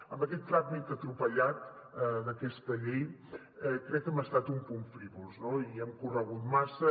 amb aquest tràmit atropellat d’aquesta llei crec que hem estat un punt frívols no i hem corregut massa